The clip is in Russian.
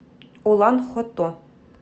улан хото